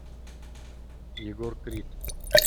егор крид